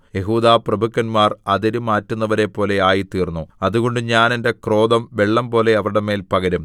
യെഹൂദാപ്രഭുക്കന്മാർ അതിര് മാറ്റുന്നവരെപ്പോലെ ആയിത്തീർന്നു അതുകൊണ്ട് ഞാൻ എന്റെ ക്രോധം വെള്ളംപോലെ അവരുടെ മേൽ പകരും